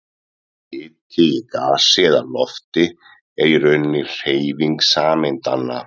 Hiti í gasi eða lofti er í rauninni hreyfing sameindanna.